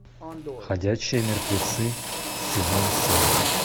ходячие мертвецы сезон семь